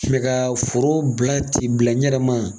Kilen ka foro bila ten bila n yɛrɛ ma.